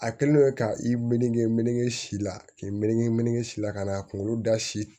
A kɛlen don ka i mge meleke si la k'i meleke meleke si la ka na a kunkolo da si